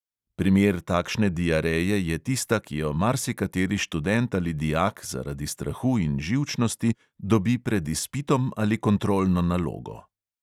Primer takšne diareje je tista, ki jo marsikateri študent ali dijak zaradi strahu in živčnosti dobi pred izpitom ali kontrolno nalogo.